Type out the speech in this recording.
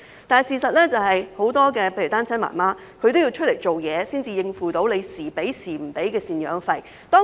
但事實是，很多單親媽媽要外出工作，才能免受有時能收到、有時收不到贍養費的影響。